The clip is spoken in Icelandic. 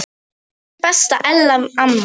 Elsku besta Ella amma.